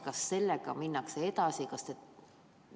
Kas sellega minnakse edasi?